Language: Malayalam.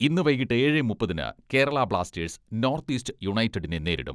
ഇന്നു വൈകീട്ട് ഏഴെ മുപ്പതിന് കേരള ബ്ലാസ്റ്റേഴ്സ്, നോർത്ത് ഈസ്റ്റ് യുണൈറ്റഡിനെ നേരിടും.